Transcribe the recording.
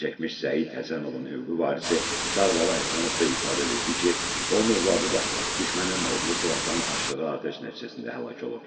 Zərərçəkmiş Səid Həsənovun hüquqi varisi Sarbala Həsənov da ifadə verdi ki, onun övladı da düşmənin odlu silahdan açdığı atəş nəticəsində həlak olub.